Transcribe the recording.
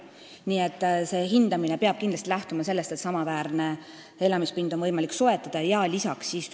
Nii et hindamine peab kindlasti lähtuma sellest, et oleks võimalik soetada samaväärne elamispind.